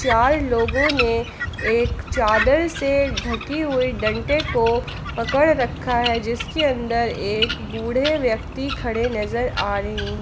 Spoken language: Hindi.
चार लोगों ने एक चादर से ढके हुए डंडे को पकड़ रखा है जिसके अन्दर एक बूढ़े व्यक्ति खड़े नजर आ रहे हैं।